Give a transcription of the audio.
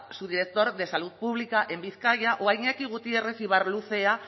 subdirector de salud pública en bizkaia o a iñaki gutierrez ibarluzea